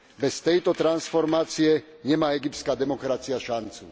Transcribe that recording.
Bez tejto transformácie nemá egyptská demokracia šancu.